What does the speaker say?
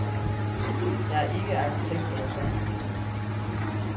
Jeg er ikke arkitekt eller doktor.